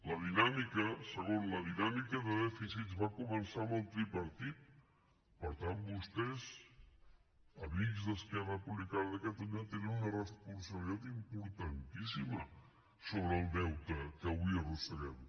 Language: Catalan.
la dinàmica segon de dèficits va començar amb el tripartit per tant vostès amics d’esquerra republicana de catalunya tenen una responsabilitat importantíssima sobre el deute que avui arrosseguem